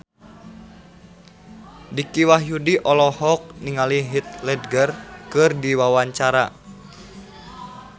Dicky Wahyudi olohok ningali Heath Ledger keur diwawancara